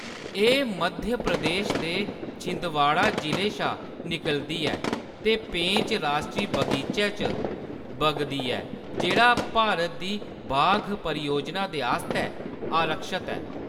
एह्‌‌ मध्यप्रदेश दे छिंदवाड़ा जि'ले शा निकलदी ऐ ते पेंच राश्ट्री बगीचै च बगदी ऐ जेह्‌‌ड़ा भारत दी बाघ परियोजना दे आस्तै आरक्षत ऐ।